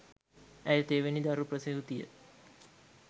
ඇය තෙවැනි දරු ප්‍රසූතිය